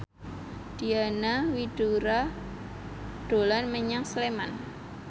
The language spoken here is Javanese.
Diana Widoera dolan menyang Sleman